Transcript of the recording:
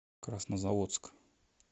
краснозаводск